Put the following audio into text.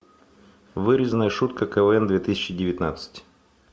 вырезанная шутка квн две тысячи девятнадцать